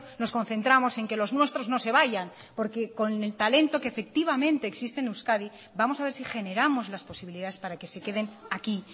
nos concentramos en que los nuestros no se vayan porque con el talento que efectivamente existe en euskadi vamos a ver si generamos las posibilidades para que se queden aquí